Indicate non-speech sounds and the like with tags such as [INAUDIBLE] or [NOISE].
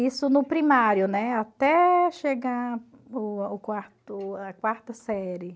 Isso no primário, né, até chegar [UNINTELLIGIBLE] o quarto a quarta série.